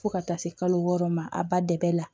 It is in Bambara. Fo ka taa se kalo wɔɔrɔ ma a ba dɛmɛ la